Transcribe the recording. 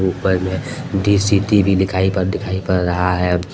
ऊपर मे दी सिटी भी दिखाई पड़ दिखाई पड़ रहा है।